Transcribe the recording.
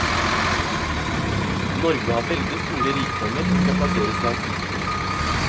Norge har veldig store rikdommer som skal plasseres langsiktig.